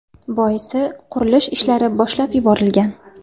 Boisi, qurilish ishlari boshlab yuborilgan.